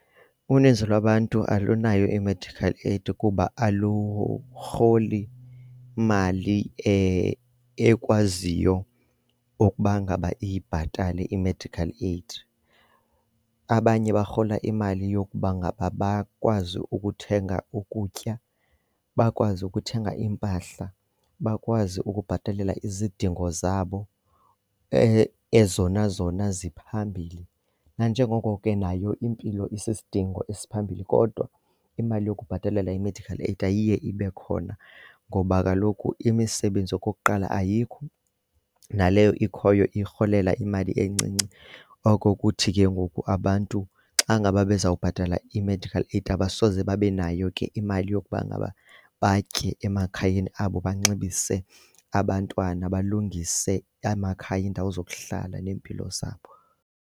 Uninzi lwabantu alunayo i-medical aid kuba alurholi mali ekwaziyo ukuba ngaba ibhatale i-medical aid. Abanye barhola imali yokuba ngaba bakwazi ukuthenga ukutya, bakwazi ukuthenga iimpahla, bakwazi ukubhatalela izidingo zabo ezona zona ziphambili. Nanjengoko ke nayo impilo isisidingo esiphambili kodwa imali yokubhatalela i-medical aid ayiye ibe khona ngoba kaloku imisebenzi okokuqala ayikho, naleyo ikhoyo urholela imali encinci. Oko kuthi ke ngoku abantu xa ngaba bezawubhatala i-medical aid abasoze babe nayo ke imali yokuba ngaba batye emakhayeni abo, banxibisa abantwana, balungise amakhaya iindawo zokuhlala neempilo zabo.